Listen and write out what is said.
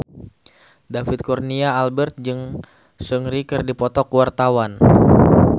David Kurnia Albert jeung Seungri keur dipoto ku wartawan